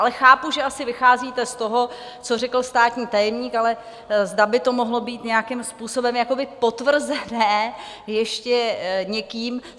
Ale chápu, že asi vycházíte z toho, co řekl státní tajemník, ale zda by to mohlo být nějakým způsobem potvrzené ještě někým.